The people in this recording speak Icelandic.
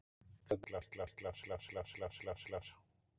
Greinilegt að framfarirnar eru miklar